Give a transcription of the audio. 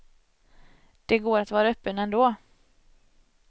Det går att vara öppen ändå.